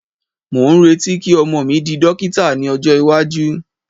mo n reti ki ọmọ mi di dókítà ní ọjọ iwaju